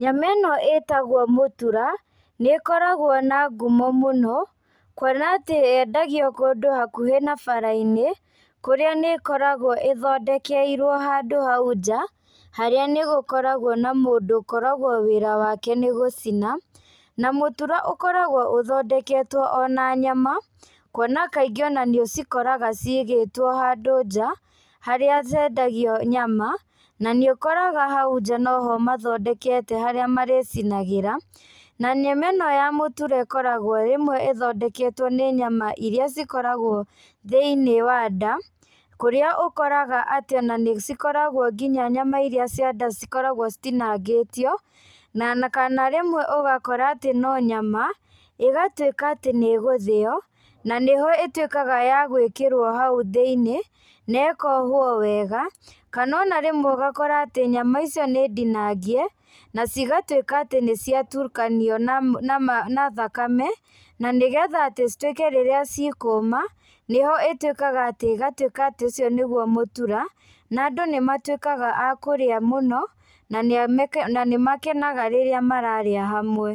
Nyama ĩno ĩtagwo mũtura, nĩkoragwo na ngumo mũno, kuona atĩ yendagio kũndũ hakuhĩ na bara-inĩ, kũrĩa nĩ ĩkoragwo ĩthondekerwo handũ hau nja, harĩa nĩgũkoragwo na mũndũ ũkoragwo wĩra wake nĩ gũcina, na mũtura ũkoragwo ũthondeketwo o na nyama, kuona kaingĩ ona nĩũcikoraga ciigĩtwo hadũ nja, harĩa hendagio nyama, na nĩũkoraga hau nja noho mathondekete harĩa marĩcinagĩra, na nyama ĩno ya mũtura ĩkoragwo rĩmwe ĩthondeketwo nĩ nyama iria cikoragwo thĩiniĩ wa nda, kũrĩa ũkoraga atĩ ona nĩcikoragwo nginya nyama iria cia nda cikoragwo citinangĩtio, na kana rĩmwe ũgakora atĩ no nyama, ĩgatuĩka atĩ nĩgũthĩo, na nĩho ĩtuĩkaga ya gwĩkĩrwo hau thĩiniĩ, nekohwo wega, kana ona rĩmwe ũgakora atĩ nyama icio nĩ ndinangie, na cigatuĩka atĩ nĩciatukanio na thakame, na nĩgetha atĩ cituĩke rĩrĩa cikũũma, nĩho ĩtuĩkaga atĩ ĩgatuĩka atĩ ũcio nĩguo mũtura, na andũ nĩmatuĩkaga a kũrĩa mũno, na nĩmakenaga rĩrĩa mararĩa hamwe.